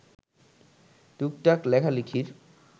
টুকটাক লেখালেখির